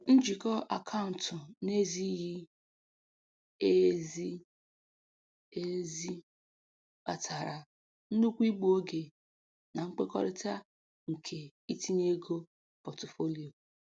Njikọ akaụntụ na-ezighi ezi ezi kpatara nnukwu igbu oge na nkwekọrịta nke itinye ego pọtụfoliyo.